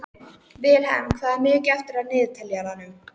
Vilhelm, hvað er mikið eftir af niðurteljaranum?